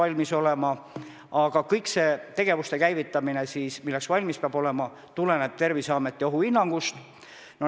" See on teie tsitaat tänases Eesti Ekspressis ilmunud Sulev Vedleri artiklist.